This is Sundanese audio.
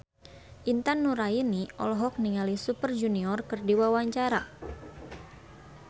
Intan Nuraini olohok ningali Super Junior keur diwawancara